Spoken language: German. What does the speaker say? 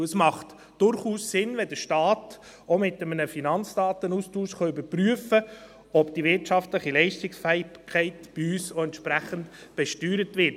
Es ist durchaus sinnvoll, wenn der Staat auch mit einem Finanzdatenaustausch überprüfen kann, ob die wirtschaftliche Leistungsfähigkeit bei uns entsprechend besteuert wird.